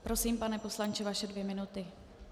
Prosím, pane poslanče, vaše dvě minuty.